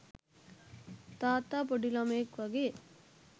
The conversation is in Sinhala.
තාත්තා පොඩි ළමයෙක් වගේ